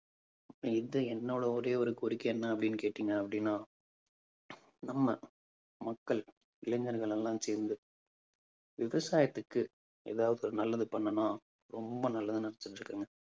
இது என்னோட ஒரே ஒரு கோரிக்கை என்ன அப்பிடின்னு கேட்டீங்க அப்பிடின்னா நம்ம மக்கள் இளைஞர்கள் எல்லாம் சேர்ந்து விவசாயத்துக்கு ஏதாவது நல்லது பண்ணனும் ரொம்ப நல்லது